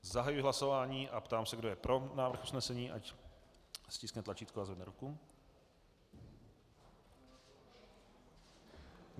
Zahajuji hlasování a ptám se, kdo je pro návrh usnesení, ať stiskne tlačítko a zvedne ruku.